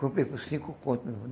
Comprei por cinco conto, meu irmão.